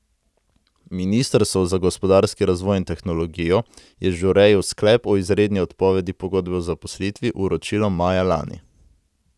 Ministrstvo za gospodarski razvoj in tehnologijo je Žureju sklep o izredni odpovedi pogodbe o zaposlitvi vročilo maja lani.